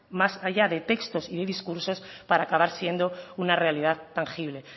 más allá de textos y de discursos para acabar siendo una realidad tangible